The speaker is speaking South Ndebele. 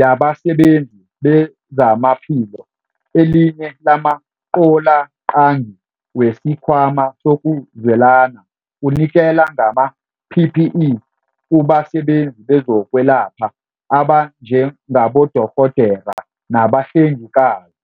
Yabasebenzi BezamaphiloElinye lamaqaloqangi wesiKhwama sokuZwelana kunikela ngama-PPE kubasebenzi bezokwelapha abanjengabodorhodera nabahlengikazi.